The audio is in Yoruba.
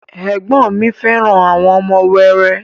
Ẹ̀gbọ́n ọn mi fẹ́ràn àwọn ọmọ wẹrẹ